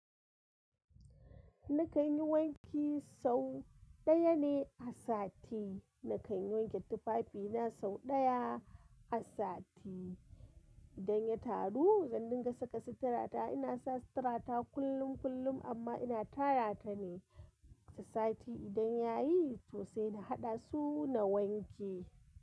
Ni kan yi wanki sau ɗaya ne a sati. Ni kan yi wanke tufafi na sau ɗaya a sati. Idan ya taru, zan dinga saka sitarata. Ina sa sitarata kullum kullum amma ina tara ta ne. Ta sati idan ya yi sosai, na haɗa su na wanke.